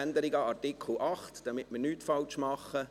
Änderungen Artikel 8, damit wir nichts falsch machen.